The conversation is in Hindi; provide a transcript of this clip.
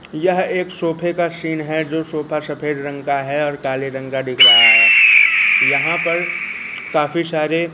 यह एक सोफे का सीन हैं जो सोफा सफेद रंग का है और काले रंग का दिख रहा हैं यहां पर काफी सारे।